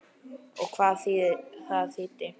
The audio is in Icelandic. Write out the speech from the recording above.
Og hvað það þýddi.